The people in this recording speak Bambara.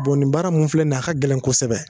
Bɔn nin baara min filɛ nin ye a ka gɛlɛn kosɛbɛ